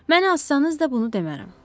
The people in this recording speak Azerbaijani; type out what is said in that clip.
Məni asanız da bunu demərəm.